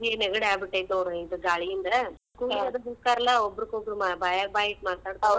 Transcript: ಈ ನೆಗಡಿ ಆಗಿಬಿಟ್ಟೆತಿ ನೋಡ್ ಇದ್ ಗಾಳಿಯಿಂದ ಕೂಡಿ ಅದು ಕುಂದರ್ತಾರ್ಲಾ ಒಬ್ಬರಿಗೊಬ್ಬರ್ ಬಾಯಾಗ್ ಬಾಯಿಟ್ಟ್ ಮಾತಾಡ್ತಾವ್.